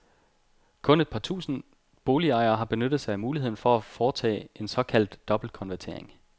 Kun et par tusinde boligejere har benyttet sig af muligheden for foretage en såkaldt dobbeltkonvertering.